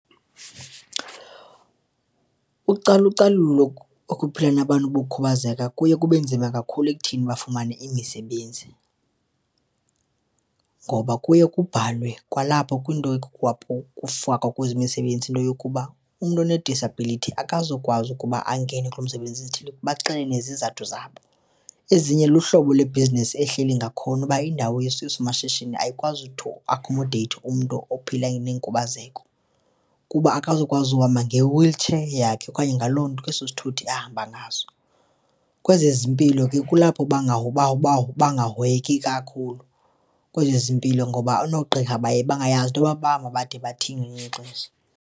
Ucalucalulo lokuphila nabantu bokhubazeka kuye kube nzima kakhulu ekuthini bafumane imisebenzi. Ngoba kuye kubhalwe kwalapho kwinto kufakwa kuyo imisebenzi into yokuba, umntu onedisabhilithi akazukwazi ukuba angene kulo msebenzi ezithile baxele nezizathu zabo. Ezinye luhlobo lebhizinisi ehleli ngakhona uba indawo yesomashishini ayikwazi to accommodate umntu ophila nenkubazeko kuba akazukwazi uhamba nge-wheelchair yakhe okanye ngaloo nto ke, eso sithuthi ahamba ngaso. Kwezezimpilo ke kulapho bangahoyeki kakhulu kwezezimpilo ngoba noogqirha baye bangayazi into yoba bangade bathini ngelinye ixesha.